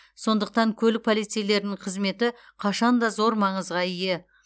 сондықтан көлік полицейлерінің қызметі қашан да зор маңызға ие